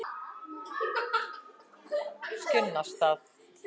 Skinnastað